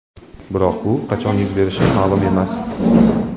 Biroq bu qachon yuz berishi ma’lum emas.